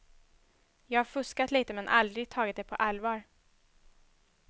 Jag har fuskat lite, men aldrig tagit det på allvar.